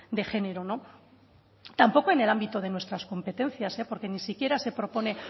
de género no tampoco en el ámbito de nuestras competencias eh porque ni siquiera se propone